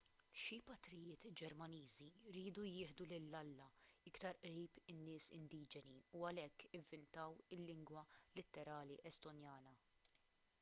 xi patrijiet ġermaniżi riedu jieħdu lil alla iktar qrib in-nies indiġeni u għalhekk ivvintaw il-lingwa litterali estonjana